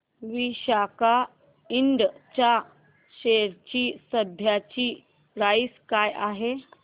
Visaka Ind च्या share ची सध्याची प्राइस काय आहे